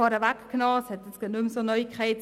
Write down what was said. Grossrat Thomas Fuchs hat es vorweggenommen: